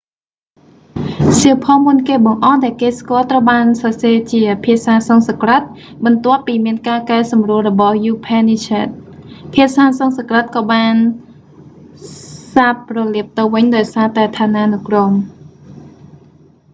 សៀវភៅមុនគេបង្អស់ដែលគេស្គាល់ត្រូវបានសរសេរជាភាសាសំស្ក្រឹត បន្ទាប់ពីមានការកែសម្រួលរបស់យូភែននីសស្ហែដ upanishads ភាសាសំស្ក្រឹតក៏បានសាបរលាបទៅវិញដោយសារតែឋានានុក្រម